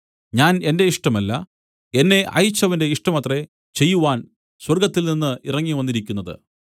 ഞാൻ എന്റെ ഇഷ്ടമല്ല എന്നെ അയച്ചവന്റെ ഇഷ്ടമത്രേ ചെയ്‌വാൻ സ്വർഗ്ഗത്തിൽനിന്ന് ഇറങ്ങിവന്നിരിക്കുന്നത്